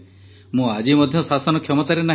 ମୁଁ ଆଜି ମଧ୍ୟ ଶାସନ କ୍ଷମତାରେ ନାହିଁ